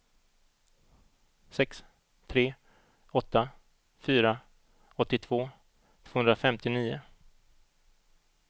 sex tre åtta fyra åttiotvå tvåhundrafemtionio